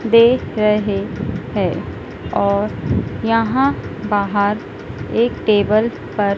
दे रहे हैं और यहां बाहर एक टेबल पर--